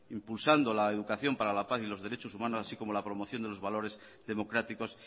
impulsando la educación para la paz y los derechos humanos así como la promoción de los valores democráticos